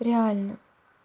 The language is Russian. реально